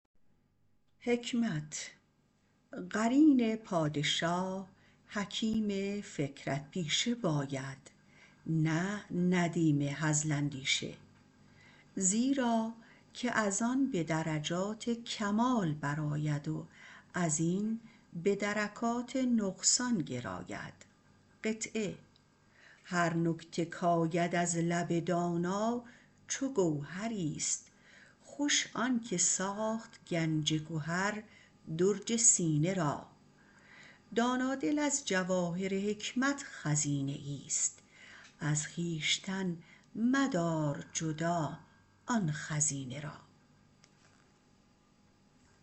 قرین پادشاه حکیم فکرت پیشه باید نه ندیم هزل اندیشه زیراکه از آن به درجات کمال برآید و از این به درکات نقصان گراید هر نکته کاید از لب داننده گوهریست خوش آن که ساخت گنج گهر درج سینه را دانا دل از جواهر حکمت خزینه ایست از خویشتن مدار جدا این خزینه را